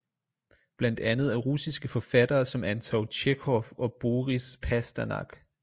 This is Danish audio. Blandt andet af russiske forfattere som anton tjekhov og boris pasternak